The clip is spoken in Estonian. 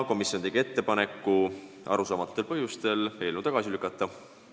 Komisjon tegi arusaamatutel põhjustel ettepaneku eelnõu tagasi lükata.